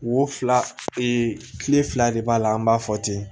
Wo fila ee kile fila de b'a la an b'a fɔ ten